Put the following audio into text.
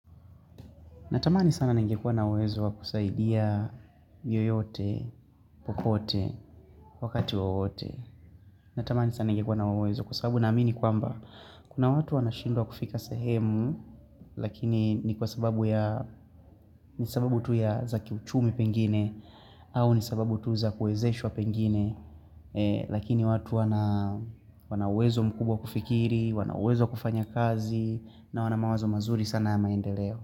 Natamani sana nengekua na uwezo wa kusaidia yeyote, popote, wakati wowote. Natamani sana nengekua na huo uwezo kwa sababu na amini kwamba kuna watu wanashindwa kufika sehemu lakini ni kwa sababu ya ni sababu tu ya za kiuchumi pengine au ni sababu tu za kuezeshwa pengine lakini watu wana uwezo mkubwa wa kufikiri, wana uwezo wa kufanya kazi na wana mawazo mazuri sana ya maendeleo.